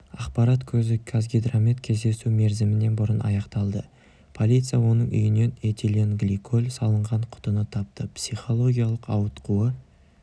ақпарат көзі қазгидромет кездесу мерзімінен бұрын аяқталды полиция оның үйінен этиленгликоль салынған құтыны тапты психологиялық ауытқуы